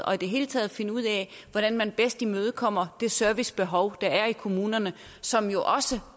og i det hele taget finde ud af hvordan man bedst imødekommer det servicebehov der er i kommunerne som jo også